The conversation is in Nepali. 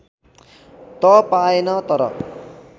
त पाएन तर